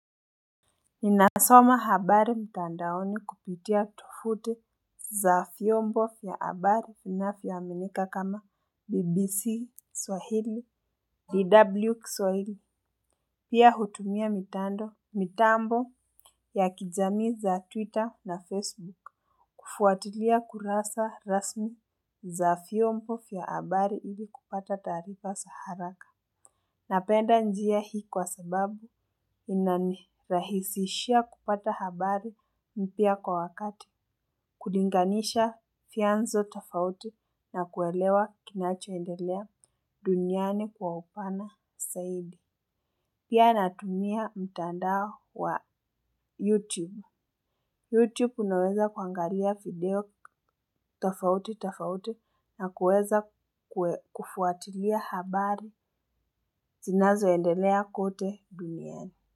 Ninasoma habari mtandaoni kupitia tufuti za fyombo vya habari vinafyoaminika kama BBC Swahili DW Swahili pia hutumia mitando. Mitambo ya kijami za Twitter na Facebook Kufuatilia kurasa rasmi za fiombo vya habari ili kupata taarifa sa haraka. Napenda njia hii kwa sababu inanirahisishia kupata habari mpya kwa wakati, kulinganisha fianzo tafauti na kuelewa kinacho endelea duniani kwa upana saidi. Pia natumia mtandao wa YouTube. YouTube unaweza kuangaria video tafauti tafauti na kueza kufuatilia habari zinazo endelea kote dunyani.